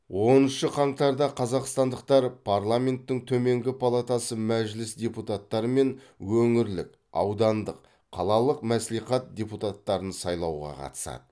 оныншы қаңтарда қазақстандықтар парламенттің төменгі палатасы мәжіліс депуттары мен өңірлік аудандық қалалық мәслихат депутаттарын сайлауға қатысады